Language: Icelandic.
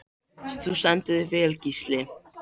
Þú stendur þig vel, Gísli!